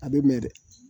A bɛ mɛn dɛ